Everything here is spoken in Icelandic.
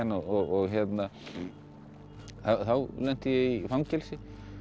og hérna þá lenti ég í fangelsi